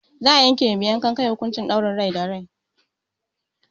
Za'a yanke ma mai yankan kan nan hukuncin ɗaurin rai da rai.